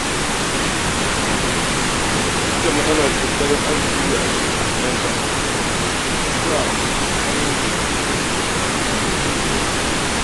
Duk da matsalar tattalin arzikin da ake fuskanta, ina ƙoƙarin cin abinci mai gina jiki.